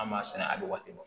An b'a sɛnɛ a bɛ waati bɔ